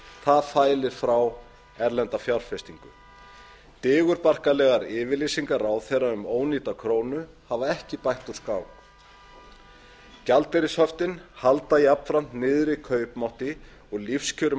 það fælir frá erlenda fjárfestingu digurbarkalegar yfirlýsingar ráðherra um ónýta hafa ekki bætt úr skák gjaldeyrishöftin halda jafnframt niðri kaupmætti og lífskjörum